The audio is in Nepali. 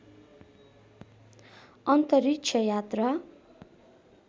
अन्तरिक्ष यात्रा